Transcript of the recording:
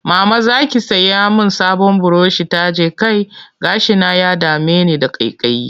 Mama za ki sai min sabon burushin taje kai? Gashina ya dame ni da ƙaiƙayi